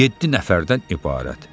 Yeddi nəfərdən ibarət.